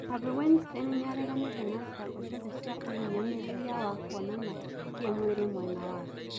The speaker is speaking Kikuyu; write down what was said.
Harvey Weinstein niareganite na thitango ciothe cia uhinyaniriria wa kuonana ki mwiri mwena wake.